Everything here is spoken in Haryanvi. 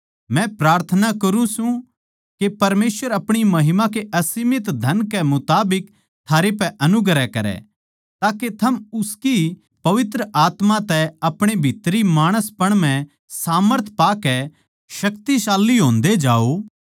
मै प्रार्थना करुँ सू के परमेसवर अपणी महिमा के असीमित धन के मुताबिक थारे पै अनुग्रह करै ताके थम उसकी पवित्र आत्मा तै अपणे भीतरी माणसपण म्ह सामर्थ पाकै शक्तिशाली होंदे जाओ